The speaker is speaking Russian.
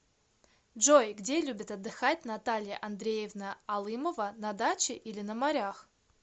джой где любит отдыхать наталья андреевна алымова на даче или на морях